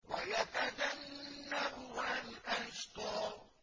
وَيَتَجَنَّبُهَا الْأَشْقَى